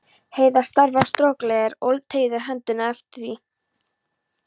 Heiða starði á strokleðrið og teygði höndina eftir því.